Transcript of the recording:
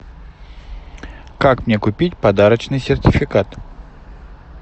как мне купить подарочный сертификат